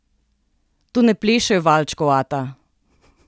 Tu ne plešejo valčkov, ata!